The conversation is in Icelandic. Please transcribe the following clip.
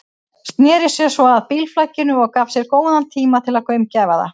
Sneri sér svo að bílflakinu og gaf sér góðan tíma til að gaumgæfa það.